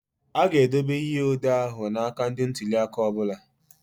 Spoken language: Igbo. A ga-edobe ihe odee ahụ na aka ndị ntuli aka ọ bụla.